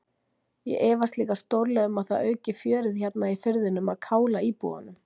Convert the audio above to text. Ég efast líka stórlega um að það auki fjörið hérna í firðinum að kála íbúunum.